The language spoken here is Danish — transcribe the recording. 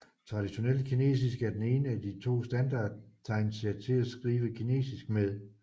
Traditionelt kinesisk er den ene af de to standardtegnsæt til at skrive kinesisk med